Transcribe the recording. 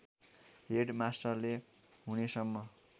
head मास्टरले हुनेसम्म